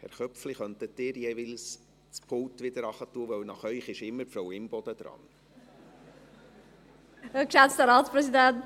– Herr Köpfli, könnten Sie bitte nach Ihrem Votum das Rednerpult jeweils wieder tiefer stellen, denn nach Ihnen ist immer Frau Imboden an der Reihe.